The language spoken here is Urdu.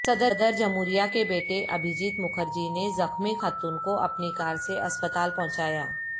صدر جمہوریہ کے بیٹے ابھیجیت مکھرجی نے زخمی خاتون کو اپنی کار سے اسپتال پہنچایا